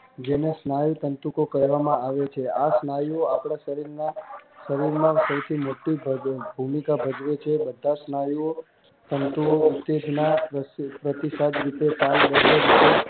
જેના સ્નાયુ તંતુકો કહેવામાં આવે છે આ સ્નાયુઓ આપણા શરીરમાં સૌથી મોટી ભૂમિકા ભજવે છે બધા સ્નાયુઓ તંતુઓ